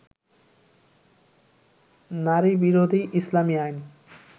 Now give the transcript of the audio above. নারীবিরোধী ইসলামী আইন